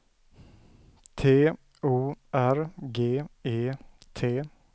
T O R G E T